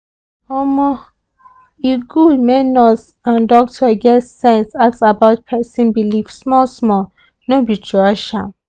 omo e good make nurse and doctor get sense ask about person belief small small no be to rush am.